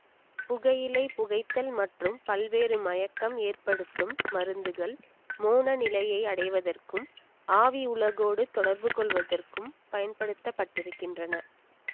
புகையிலை புகைத்தல் மற்றும் பல்வேறு மயக்கம் ஏற்படுத்தும் மருந்துகள் மோன நிலையை அடைவதற்கும் ஆவி உலகோடு தொடர்புகொள்வதற்கும் பயன்படுத்தப்பட்டிருக்கின்றன